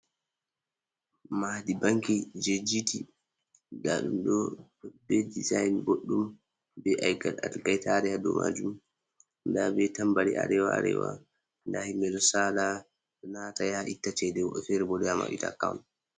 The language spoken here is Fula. Maadi banki jei G.T, nda ɗum ɗo be dezain boɗɗum, be ɗelke-ɗelke ɗo tari ha dou majum. Nda be tambari Arewa-Arewa. Nda himɓe ɗo sala, ɗo nata ya itta cede, woɓɓe fere bo ɗo yaa maɓɓita akawn.